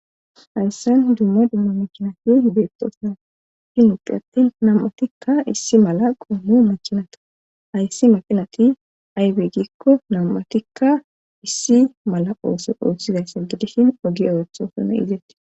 Hayssan dumma dumma makinati beettoosa ahin uphi attin nam7atikka issi mala qoommu makinata ayssi makinati aybegikko nam7atikka issi mala ooso oossizaysse gidishin ogi orothosune izetti.